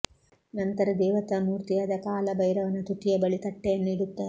ನಂತರ ದೇವತಾ ಮೂರ್ತಿಯಾದ ಕಾಲ ಭೈರವನ ತುಟಿಯ ಬಳಿ ತಟ್ಟೆಯನ್ನು ಇಡುತ್ತಾರೆ